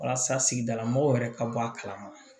Walasa sigidala mɔgɔw yɛrɛ ka bɔ a kalama